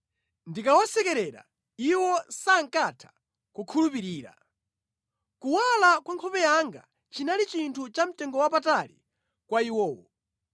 Ndikawasekerera, iwo sankatha kukhulupirira; kuwala kwa nkhope yanga chinali chinthu chamtengowapatali kwa iwowo.